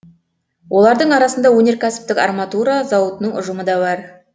олардың арасында өнеркәсіптік арматура зауытының ұжымы да бар